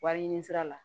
Wari ɲini sira la